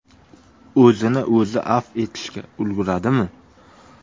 O‘zini o‘zi afv etishga ulguradimi?